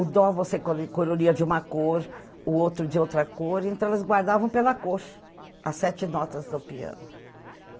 O dó você co coloria de uma cor, o outro de outra cor, então elas guardavam pela cor, as sete notas do piano.